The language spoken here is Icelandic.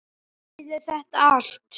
Ég heyrði þetta allt.